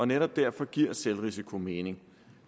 netop derfor giver selvrisiko mening